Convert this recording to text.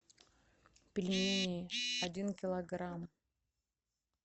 пельмени один килограмм